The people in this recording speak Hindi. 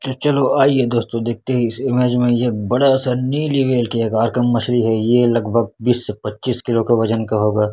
जो चलो आइए दोस्तो देखते हैं इस इमेज में ये एक बड़ा सा नीली व्हेल के आकार का मछली है ये लगभग बीस से पच्चीस किलो के वजन का होग।